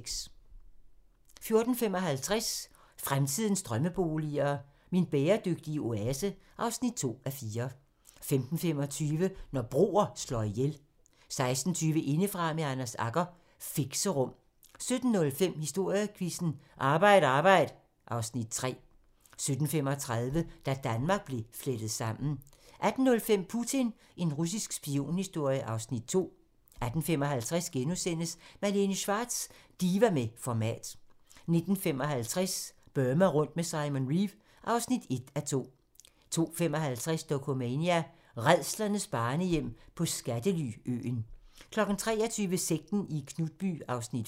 14:55: Fremtidens drømmeboliger: Min bæredygtige oase (2:4) 15:25: Når broer slår ihjel 16:20: Indefra med Anders Agger - Fixerum 17:05: Historiequizzen: Arbejd arbejd (Afs. 3) 17:35: Da Danmark blev flettet sammen 18:05: Putin – en russisk spionhistorie (Afs. 2) 18:55: Malene Schwartz - diva med format * 19:55: Burma rundt med Simon Reeve (1:2) 20:55: Dokumania: Rædslernes børnehjem på skattely-øen 23:00: Sekten i Knutby (5:6)